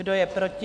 Kdo je proti?